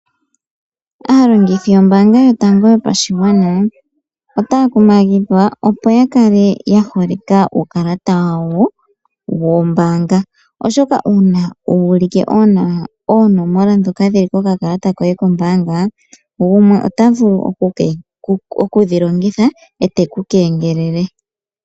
Aalongithi yombanga yotango yopashigwana otaya kumagidhwa opo ya kale ya holeka uukalata wayo wombanga. Oshoka una wu ulike oonomola shoka dhili kokakalata koye kombanga gumwe ota vulu okudhi longitha ete ku kengelele.